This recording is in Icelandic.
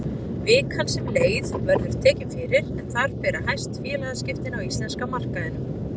Vikan sem leið verður tekin fyrir en þar bera hæst félagaskiptin á íslenska markaðinum.